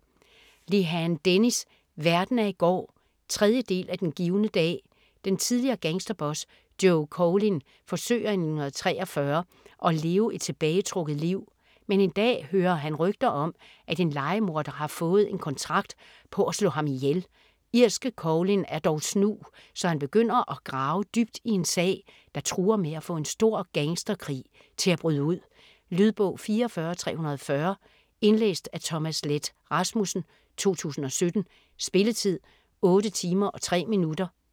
Lehane, Dennis: Verden af i går 3. del af Den givne dag. Den tidligere gangsterboss Joe Coughlin forsøger i 1943, at leve et tilbagetrukket liv. Men en dag hører han rygter om, at en lejemorder har fået en kontrakt på at slå ham ihjel. Irske Coughlin er dog snu, så han begynder at grave dybt i en sag, der truer med at få en stor gangsterkrig til at bryde ud. Lydbog 44340 Indlæst af Thomas Leth Rasmussen, 2017. Spilletid: 8 timer, 3 minutter.